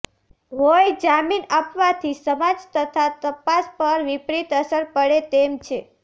હોઈ જામીન આપવાથી સમાજ તથા તપાસ પર વિપરિત અસર પડે તેમ છે